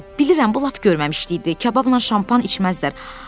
Bilirəm, bu lap görməmişlikdir, kababla şampan içməzlər.